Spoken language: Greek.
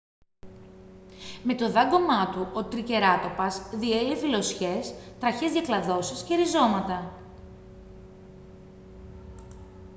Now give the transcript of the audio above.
με το δάγκωμά του ο τρικεράτοπας διέλυε φυλλωσιές τραχιές διακλαδώσεις και ριζώματα